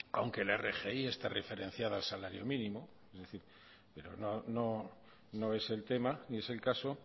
aunque la rgi está referenciada al salario mínimo pero no es el tema ni es el caso